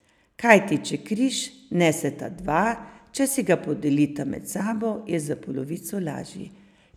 Kajti, če križ neseta dva, če si ga podelita med sabo, je za polovico lažji.